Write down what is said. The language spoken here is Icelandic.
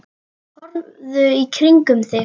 Horfðu í kringum þig!